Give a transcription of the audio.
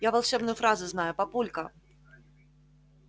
я волшебную фразу знаю папулька